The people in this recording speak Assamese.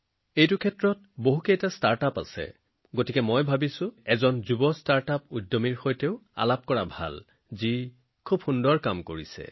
এই খণ্ডত আৰু বহুতো ষ্টাৰ্টআপ আছে গতিকে মই ভাবিলোঁ এই স্থানত বহুত ভাল কাম কৰা এজন যুৱ ষ্টাৰ্টআপ প্ৰতিষ্ঠাপকৰ সৈতে আলোচনা কৰোঁ আহক